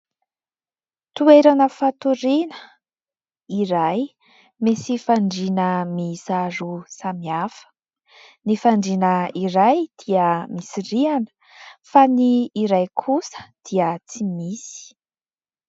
Toerana fatoriana iray, misy fandriana miisa roa samihafa : ny fandriana iray dia misy rihana fa ny iray kosa dia tsy misy.